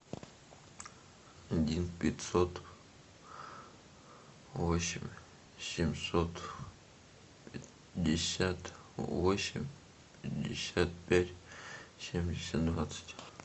один пятьсот восемь семьсот пятьдесят восемь пятьдесят пять семьдесят двадцать